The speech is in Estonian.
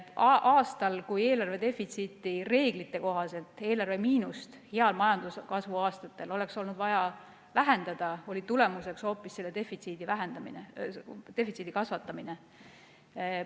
Aastatel, kui eelarve defitsiiti, eelarve miinust reeglite kohaselt oleks olnud vaja vähendada, seda defitsiiti hoopis kasvatati.